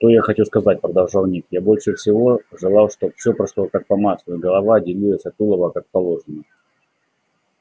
что я хочу сказать продолжал ник я больше всего желал чтоб всё прошло как по маслу и голова отделилась от тулова как положено